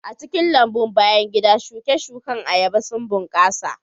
A cikin lambun bayan gida, shuke-shuken ayaba sun bunƙasa